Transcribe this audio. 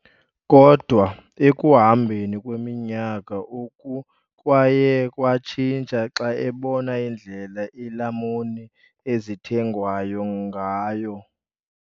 Kodwa ekuhambeni kweminyaka, oku kwaye kwatshintsha xa ebona indlela iilamuni ezithengwayo ngayo.